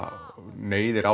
neyðir